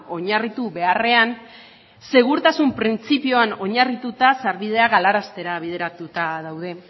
oinarritu beharrean segurtasun printzipioan oinarrituta sarbidea galaraztea bideratuta daude